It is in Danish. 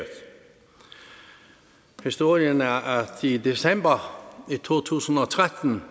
historien er at i december to tusind og tretten